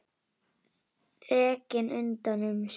Þrekinn utan um sig.